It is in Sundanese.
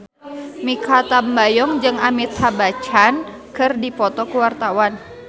Mikha Tambayong jeung Amitabh Bachchan keur dipoto ku wartawan